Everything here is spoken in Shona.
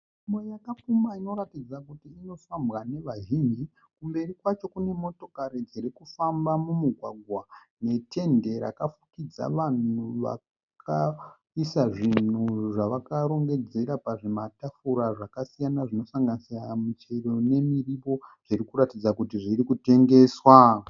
Nzvimbo yakapfumba inotaridza kuti inofambwa nevazhinji. Kumberi kwacho kune motokari dziri kufamba mumugwagwa netende rakafukidza vanhu vakaisa zvinhu zvavakarongedzera pazvimatafura zvakasiyana zvinosanganisira michero nemirivo zvinoratidza kuti zviri kutengeswa.